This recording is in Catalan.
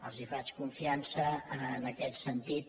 els faig confiança en aquest sentit